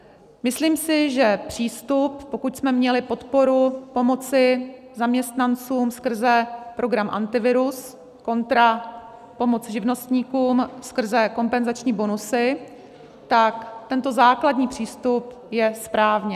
Myslím si, že přístup, pokud jsme měli podporu pomoci zaměstnancům skrze program Antivirus kontra pomoc živnostníkům skrze kompenzační bonusy, tak tento základní přístup je správně.